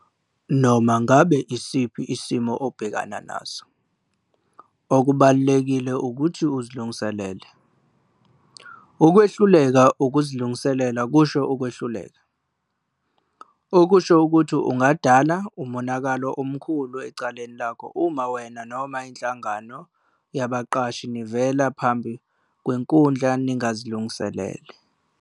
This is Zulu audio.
Noma ngabe yisiphi isimo obhekana naso, okubalulekile ukuthi uzilungiselele. "Ukwehluleka ukuzilungiselela kusho ukwehluleka", okusho ukuthi ungadala umonakalo omkhulu ecaleni lakho uma wena noma Inhlangano yaBaqashi nivela phambi kwenkundla ningazilungisele.